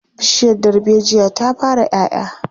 Bishiyar darbejiya ta fara 'ya 'ya.